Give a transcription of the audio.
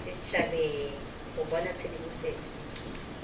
set habeng go bona tshedimosetso